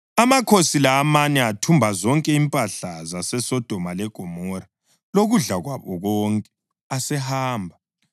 Amakhosi la amane athumba zonke impahla zaseSodoma leGomora lokudla kwabo konke; asehamba.